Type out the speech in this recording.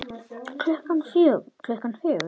Klukkan fjögur?